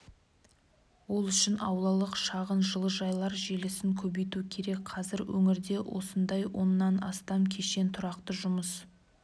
ол үшін аулалық шағын жылыжайлар желісін көбейту керек қазір өңірде осындай оннан астам кешен тұрақты жұмыс